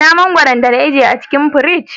Ina mangwaron da na ajiye a cikin firiji?